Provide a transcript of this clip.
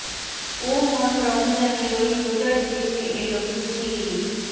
ও মন রমজানের ঐ রোজার শেষে এলো খুশির ঈদ